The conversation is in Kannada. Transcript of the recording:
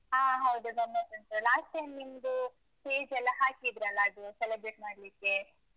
ಹ. ಹೌದು, ಗಮ್ಮತ್ತುಂಟು. last time ನಿಮ್ದು stage ಲ್ಲ ಹಾಕಿದ್ರಲ್ಲ ಅದು celebrate ಮಾಡ್ಲಿಕ್ಕೆ?